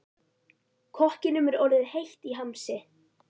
Kokkinum er orðið heitt í hamsi.